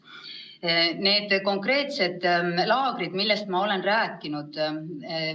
Nüüd nendest konkreetsetest laagritest, millest ma olen rääkinud.